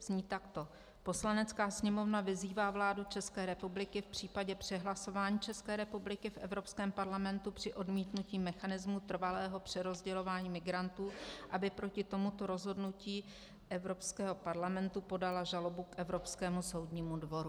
Zní takto: "Poslanecká sněmovna vyzývá vládu České republiky v případě přehlasování České republiky v Evropském parlamentu při odmítnutí mechanismu trvalého přerozdělování migrantů, aby proti tomuto rozhodnutí Evropského parlamentu podala žalobu k Evropskému soudnímu dvoru."